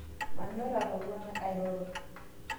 Manyor atowuana airoro